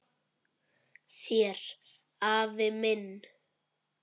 Þér afi minn.